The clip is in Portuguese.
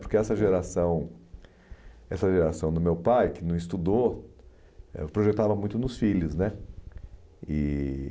Porque essa geração essa geração do meu pai, que não estudou, projetava muito nos filhos né e